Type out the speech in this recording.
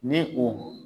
Ni o